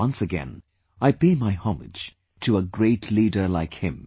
Once again I pay my homage to a great leader like him